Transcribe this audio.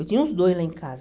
Eu tinha uns dois lá em casa.